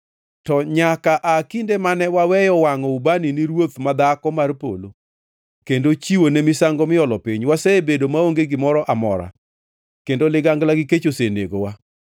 To nyaka aa kinde mane waweyo wangʼo ubani ne Ruoth ma Dhako mar Polo kendo chiwone misango miolo piny, wasebedo maonge gimoro amora kendo ligangla gi kech osenegowa.”